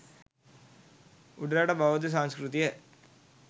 උඩරට බෙෳද්ධ සංස්කෘතිය